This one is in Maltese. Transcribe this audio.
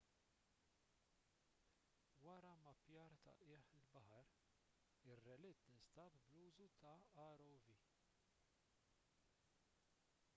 wara mmappjar ta' qiegħ il-baħar ir-relitt instab bl-użu ta' rov